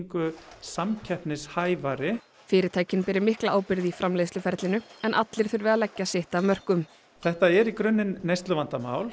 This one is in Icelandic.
samkeppnishæfari fyrirtæki beri mikla ábyrgð í framleiðsluferlinu en allir þurfi að leggja sitt af mörkum þetta er í grunninn neysluvandamál